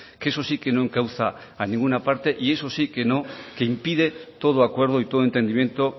que eso sí que no encauza a ninguna parte y eso sí que no que impide todo acuerdo y todo entendimiento